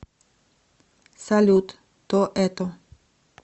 салют то это